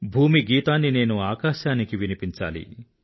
భూమి గీతాన్ని నేను ఆకాశానికి వినిపించాలి